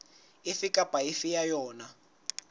efe kapa efe ya yona